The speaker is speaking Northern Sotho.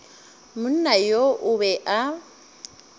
monna yo o be a